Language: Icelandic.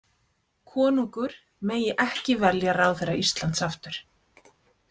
Konungur megi ekki velja ráðherra Íslands aftur.